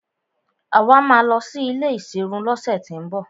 Àwa máa lọ sí ilé ìserun lọ́sẹ̀ tín bọ̀.